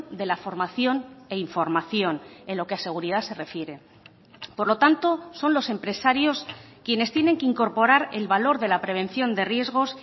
de la formación e información en lo que a seguridad se refiere por lo tanto son los empresarios quienes tienen que incorporar el valor de la prevención de riesgos